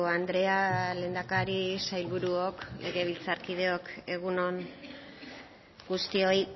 andrea lehendakari sailburuok legebiltzarkideok egun on guztioi